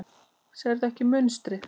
Sérðu ekki munstrið?